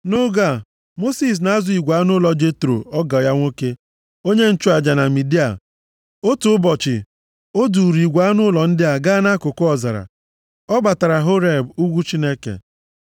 Nʼoge a, Mosis na-azụ igwe anụ ụlọ Jetro ọgọ ya nwoke, onye nchụaja na Midia. Otu ụbọchị, o duuru igwe anụ ụlọ ndị a gaa nʼakụkụ ọzara. Ọ batara Horeb, + 3:1 Ugwu a na-aza, Ugwu Chineke maọbụ Ugwu Saịnaị. \+xt Ọpụ 4:27; 18:5\+xt* ugwu Chineke.